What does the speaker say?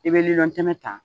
I bɛ lilɔntɛmɛ ta